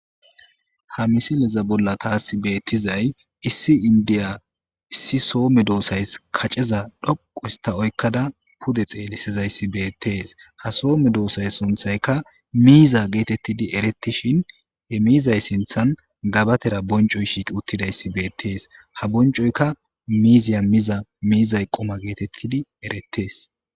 Ha misileza bolla taasi beettizay issi indiya issi soome doossays kaceza dhoqusta oykkada pude xeelisizayssi beettees ha soome doosay sunthayka miiza geetettidi erettishin he miizay sinthan gabatera boncoy shiiqi uttidayssi beettees ha boncoyka miiziya miza miizay qoma geetettidi erettees.